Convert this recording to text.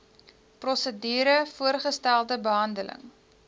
prosedure voorgestelde behandeling